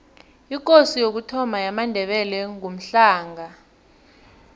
ikosi yokuthoma yamandebele ngumhlanga